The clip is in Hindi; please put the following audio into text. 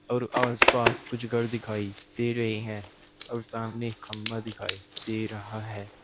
और आस पास कुछ गर दिखाई दे रही हैं और सामने खंबा दिखाई दे रहा है।